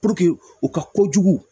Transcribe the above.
u ka kojugu